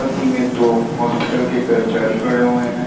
में दो हॉस्पिटल के कर्मचारी खड़े हुए हैं।